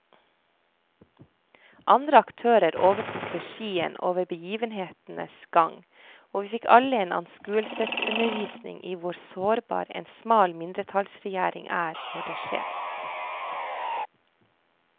Andre aktører overtok regien over begivenhetenes gang, og vi fikk alle en anskuelsesundervisning i hvor sårbar en smal mindretallsregjering er når det skjer.